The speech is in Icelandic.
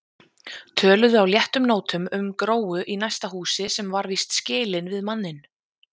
Töluðu á léttum nótum um Gróu í næsta húsi sem var víst skilin við manninn.